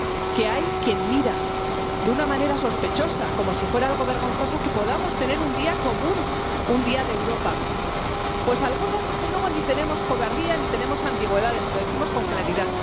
Que hay quien mira de una manera sospechosa, como si fuera algo vergonzoso, que podamos tener un día común, un Día de Europa. Pues algunos, desde luego, ni tenemos cobardía ni tenemos ambigüedades, y lo decimos con claridad.